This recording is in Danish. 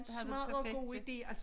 Det havde været perfekt ja